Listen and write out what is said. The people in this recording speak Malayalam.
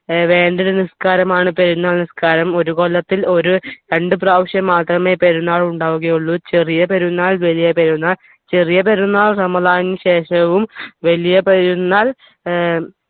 വേണ്ടൊരു നിസ്കാരമാണ് പെരുന്നാൾ നിസ്കാരം ഒരു കൊല്ലത്തിൽ ഒരു രണ്ടു പ്രാവശ്യം മാത്രമേ പെരുന്നാൾ ഉണ്ടാവുകയുള്ളൂ ചെറിയ പെരുന്നാൾ വലിയ പെരുന്നാൾ ചെറിയ പെരുന്നാൾ റമദാനിന് ശേഷവും വലിയ പെരുന്നാൾ ഏർ